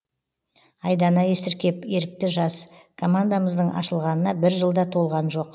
айдана есіркеп ерікті жас командамыздың ашылғанына бір жыл да толған жоқ